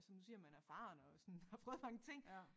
Altså nu siger man er erfaren og sådan har prøvet mange ting